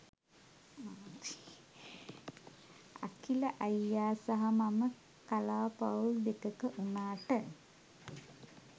අඛිල අයියා සහ මම කලා පවුල් දෙකක වුනාට